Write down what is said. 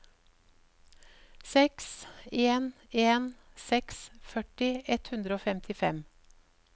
seks en en seks førti ett hundre og femtifem